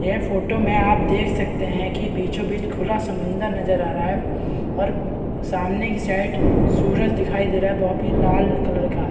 यह फोटो में आप देख सकते हैं कि बीचो-बीच खुला समुद्र नजर आ रहा है और सामने की साइड सूरज दिखाई दे रहा है बो पी लाल कलर का।